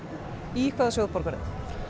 í hvaða sjóð borgarðu